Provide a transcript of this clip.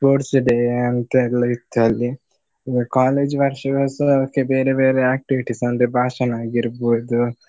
Sports day ಅಂತೆಲ್ಲ ಇತ್ತು ಅಲ್ಲಿ. college ವಾರ್ಷಿಕೋತ್ಸವಕ್ಕೆ ಬೇರೆ ಬೇರೆ activities ಅಂದ್ರೆ ಭಾಷಣ ಆಗಿರ್ಬಹುದು.